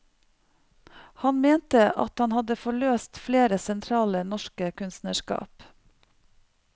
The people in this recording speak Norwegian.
Han mente at han hadde forløst flere sentrale norske kunstnerskap.